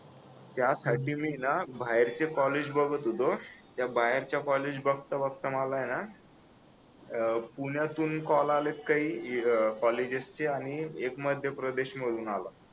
त्यासाठी मी आहे ना बाहेरचे कॉलेज बघत होतो त्या बाहेरच्या कॉलेज बघता बघता मला आहे ना अह पुण्यातून कॉल आहेत काही अह कॉलेजेसचे आणि एक मध्यप्रदेश मधून आला